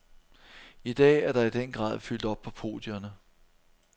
I dag er der i den grad fyldt op på podierne.